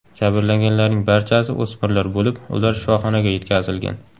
Jabrlanganlarning barchasi o‘smirlar bo‘lib, ular shifoxonaga yetkazilgan.